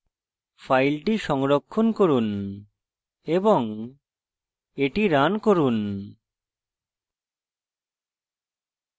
file সংরক্ষণ করুন এবং এটি রান করুন